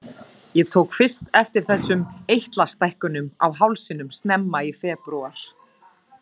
Ég tók fyrst eftir þessum eitlastækkunum á hálsinum snemma í febrúar.